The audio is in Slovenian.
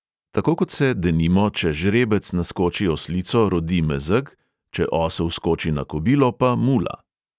Tako kot se, denimo, če žrebec naskoči oslico, rodi mezeg, če osel skoči na kobilo, pa mula.